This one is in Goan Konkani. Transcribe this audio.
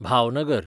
भावनगर